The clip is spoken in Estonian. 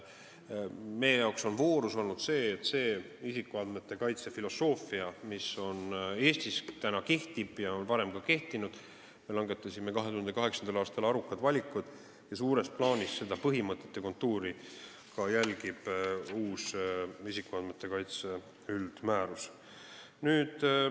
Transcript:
Meie jaoks on voorus olnud see, et isikuandmete kaitse filosoofia asjus, mis Eestis täna kehtib ja on ka varem kehtinud, me langetasime 2008. aastal arukad valikud ning suures plaanis järgib seda põhimõtet ja kontuuri ka uus isikuandmete kaitse üldmäärus.